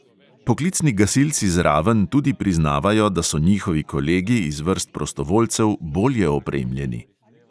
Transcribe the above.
Poklicni gasilci z raven tudi priznavajo, da so njihovi kolegi iz vrst prostovoljcev bolje opremljeni.